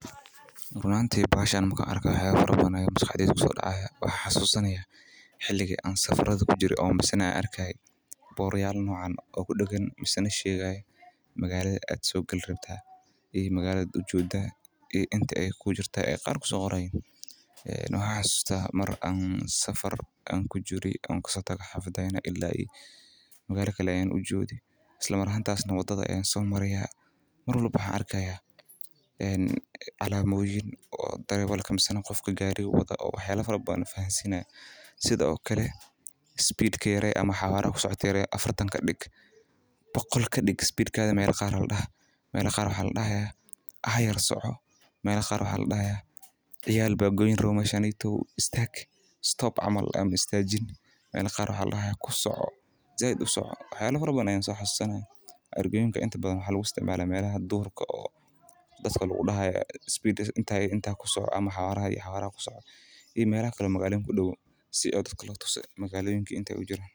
Run ahaanti bahashan marki aan arko waxaan xasusanya marki aan safar kujire magalada aad gali rabto iyo mida aad kabaxeysod sida inta kuu diman ama speedkaga yaree sida istaag ama kusoco wax yaaba fara badan wayaa loo isticmaalaa waxaa loo isticmaali meelaha duurka iyo meelaha magaaloyinka.